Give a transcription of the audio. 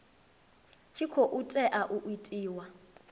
tshi khou tea u itiwa